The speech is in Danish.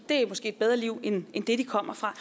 er måske et bedre liv end det de kommer fra